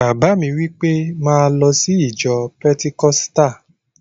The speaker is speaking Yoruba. Bàbá mi wí pé, 'máa lọ sí ìjọ pẹtikọ́sítà!